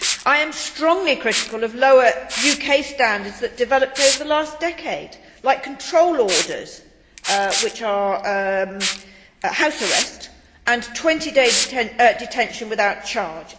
I am strongly critical of the lower UK standards that developed over the last decade like control orders, which are house arrest, and 20 day detention without charge.